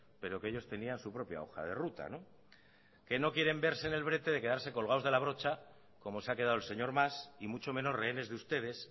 pero que ellos tenían su propia hoja de ruta que no quieren verse en el brete de quedarse colgados de la brocha como se ha quedado el señor mas y mucho menos rehenes de ustedes